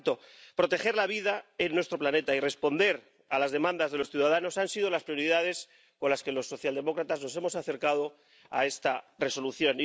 Por tanto, proteger la vida en nuestro planeta y responder a las demandas de los ciudadanos han sido las prioridades con las que los socialdemócratas nos hemos acercado a esta Resolución.